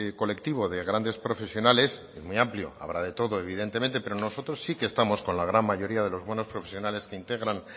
colectivo de grandes profesionales es muy amplio habrá de todo evidentemente pero nosotros sí que estamos con la gran mayoría de los buenos profesionales que integran